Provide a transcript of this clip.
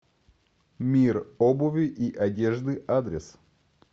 мир обуви и одежды адрес